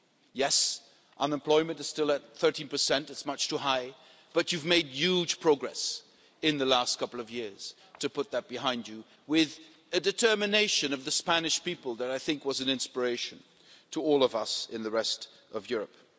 Yes, unemployment is still at 13 it's much too high but you've made huge progress in the last couple of years to put that behind you, with a determination from the Spanish people that was an inspiration to all of us in the rest of Europe.